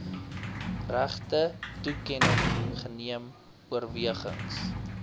regtetoekenning geneem oorwegings